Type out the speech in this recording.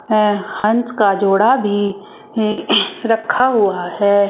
है हंस का जोड़ा भी हे रखा हुआ है।